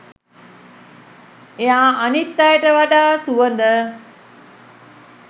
එයා අනිත් අයට වඩා සුවඳ